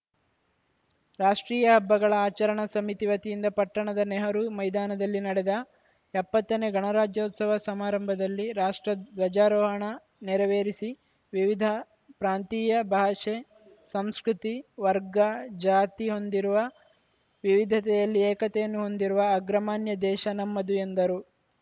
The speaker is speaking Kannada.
ರಾಷ್ಟ್ರೀಯ ಹಬ್ಬಗಳ ಆಚರಣಾ ಸಮಿತಿ ವತಿಯಿಂದ ಪಟ್ಟಣದ ನೆಹರೂ ಮೈದಾನದಲ್ಲಿ ನಡೆದ ಎಪ್ಪತ್ತನೇ ಗಣರಾಜ್ಯೋತ್ಸವ ಸಮಾರಂಭದಲ್ಲಿ ರಾಷ್ಟ್ರ ಧ್ವಜಾರೋಹಣ ನೆರವೇರಿಸಿ ವಿವಿಧ ಪ್ರಾಂತೀಯ ಭಾಷೆ ಸಂಸ್ಕೃತಿ ವರ್ಗ ಜಾತಿ ಹೊಂದಿರುವ ವಿವಿಧತೆಯಲ್ಲಿ ಏಕತೆಯನ್ನು ಹೊಂದಿರುವ ಅಗ್ರಮಾನ್ಯ ದೇಶ ನಮ್ಮದು ಎಂದರು